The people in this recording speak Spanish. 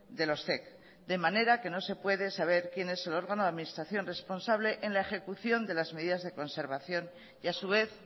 de los zec de manera que no se puede saber quién es el órgano de administración responsable en la ejecución de las medidas de conservación y a su vez